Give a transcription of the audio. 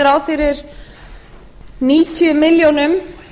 er gert ráð fyrir níutíu milljónir